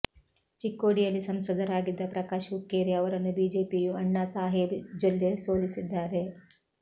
ಚಿಕ್ಕೋಡಿಯಲ್ಲಿ ಸಂಸದರಾಗಿದ್ದ ಪ್ರಕಾಶ್ ಹುಕ್ಕೇರಿ ಅವರನ್ನು ಬಿಜೆಪಿಯ ಅಣ್ಣಾ ಸಾಹೇಬ್ ಜೊಲ್ಲೆ ಸೋಲಿಸಿದ್ದಾರೆ